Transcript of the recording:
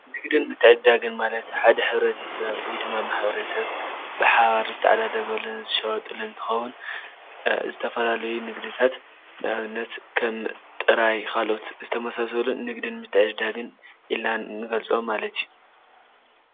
ንግድን ምትዕድዳግን ማለት ሓደ ሕብረተሰብ ወይድማ ማሕበረሰብ ብሓባር ዝተዓዳደገሉን ዝሻዋወጠሉን እንትከውን ዝተፈላለዩ ንግድታት ንኣብነት ከም ጥራይ ካልኦት ዝተመሳሰሉን ንግድን ምትዕድዳግን ኢልና ንገልፆም ማለት እዩ።